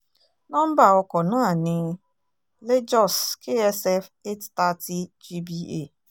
nomba ọkọ̀ náà ní lajos ksf eight thirty gba